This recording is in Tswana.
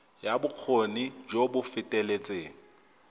ya bokgoni jo bo feteletseng